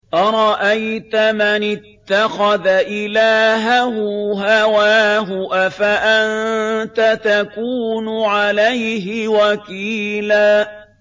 أَرَأَيْتَ مَنِ اتَّخَذَ إِلَٰهَهُ هَوَاهُ أَفَأَنتَ تَكُونُ عَلَيْهِ وَكِيلًا